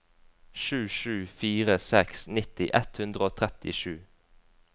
sju sju fire seks nitti ett hundre og trettisju